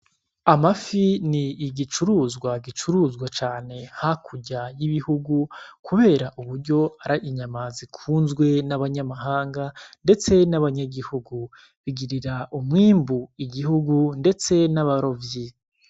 Amafi ni igicuruzwa gicuruzwa cane ha kurya y'ibihugu, kubera uburyo ari inyamazi kunzwe n'abanyamahanga, ndetse n'abanyagihugu bigirira umwimbu igihugu, ndetse n'abarovyi.